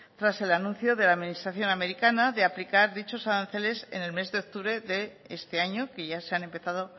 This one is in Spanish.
tras el anuncio de la administración americana de aplicar dichos aranceles en el mes de octubre de este año que ya se han empezado